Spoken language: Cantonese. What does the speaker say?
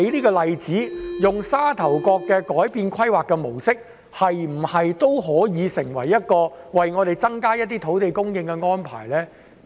改變沙頭角的規劃模式，能否成為增加土地供應的安排呢？